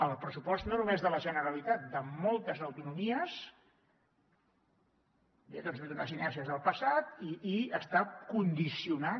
el pressupost no només de la generalitat de moltes autonomies doncs ve d’unes inèrcies del passat i està condicionat